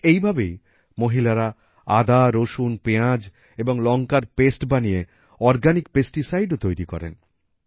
ঠিক এইভাবেই মহিলারা আদা রসুন পেঁয়াজ এবং লঙ্কার পেস্ট বানিয়ে অর্গানিক পেস্টিসাইড ও তৈরী করেন